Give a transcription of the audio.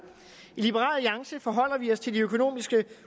i liberal alliance forholder vi os til de økonomiske